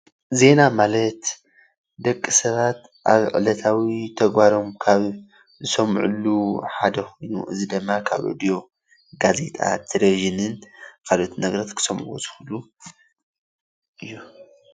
ዜና ማለት ደቂ ሰባት ኣብ ዕለታዊ ተግባሮም ካብ ዝሰምዕሉ ሓደ ኮይኑ እዚ ድማ ካብ ሬድዮ፣ ጋዜጣ፣ ቴሌቪጅንን ካልኦት ነገራት ክሰምዑ ዝክእሉ እዮም።